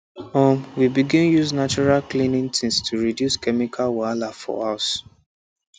um we begin use natural cleaning things to reduce chemical wahala for house